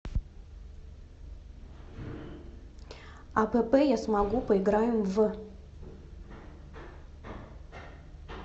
апп я смогу поиграем в